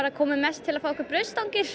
komum mest til að fá okkur brauðstangir